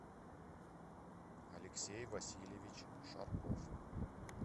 алексей васильевич шарков